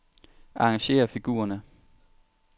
Arrangér figurerne.